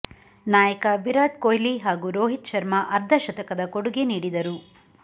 ನಾಯಕ ವಿರಾಟ್ ಕೊಹ್ಲಿ ಹಾಗೂ ರೋಹಿತ್ ಶರ್ಮ ಅರ್ಧಶತಕದ ಕೊಡುಗೆ ನೀಡಿದರು